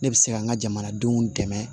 Ne bɛ se ka n ka jamanadenw dɛmɛ